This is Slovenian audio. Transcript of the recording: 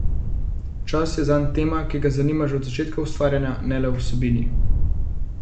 Čas je zanj tema, ki ga zanima že od začetka ustvarjanja, ne le v vsebini.